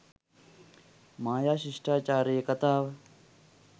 මායා ශිෂ්ටාචාරයේ කතාව